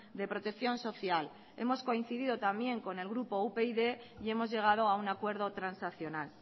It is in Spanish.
de protección social hemos coincidido también con el grupo upyd y hemos llegado a un acuerdo transaccional